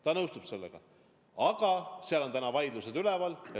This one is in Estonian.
Ta nõustub sellega, aga seal on vaidlused üleval.